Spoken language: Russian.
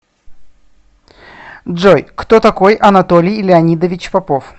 джой кто такой анатолий леонидович попов